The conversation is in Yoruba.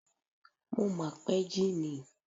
Mo mà pẹ́ jí ni.